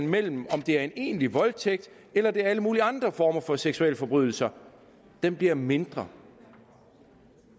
mellem om det er en egentlig voldtægt eller det er alle mulige andre former for seksualforbrydelser bliver mindre